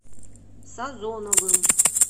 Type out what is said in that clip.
сазоновым